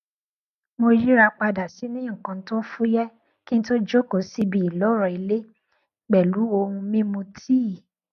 mo yíra padà sínú nnkan tó fúyẹ kí n tó jókòó síbi ìloro ilé pẹlú ohun mímu tíì